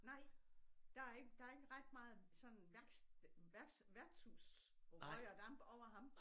Nej der er ikke der er ikke ret meget sådan værks værks værtshus røg og damp over ham